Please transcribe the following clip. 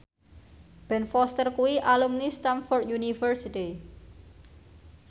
Ben Foster kuwi alumni Stamford University